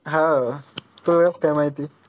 हाओ तुला कस काय माहिती?